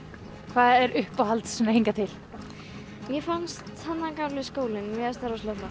hvað er uppáhalds hingað til mér fannst þarna gamli skólinn mér fannst það rosalega flott